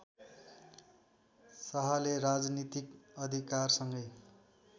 शाहले राजनीतिक अधिकारसँगै